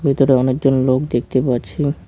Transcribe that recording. ভেতরে অনেকজন লোক দেখতে পারছি।